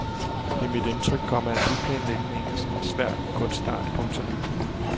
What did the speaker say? Det er mit indtryk, komma at byplanlægning er en svær kunstart. punktum